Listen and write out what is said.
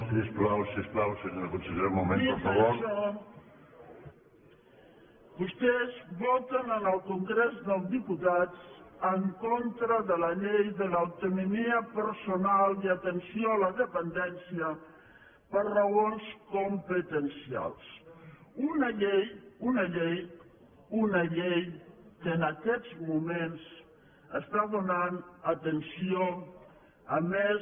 dit això vostès voten en el congrés dels diputats en contra de la llei de l’autonomia personal i atenció a la dependència per raons competencials una llei una llei una llei que en aquests moments dóna atenció a més